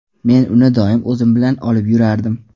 Men uni doim o‘zim bilan olib yurardim.